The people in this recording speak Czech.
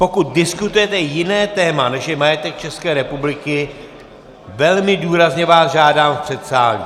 Pokud diskutujete jiné téma, než je majetek České republiky, velmi důrazně vás žádám v předsálí.